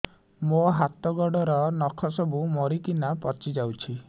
ମୋ ହାତ ଗୋଡର ନଖ ସବୁ ମରିକିନା ପଚି ଯାଉଛି